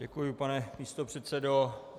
Děkuji, pane místopředsedo.